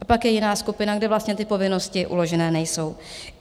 A pak je jiná skupina, kde vlastně ty povinnosti uložené nejsou.